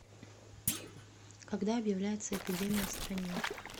когда объявляется эпидемия в стране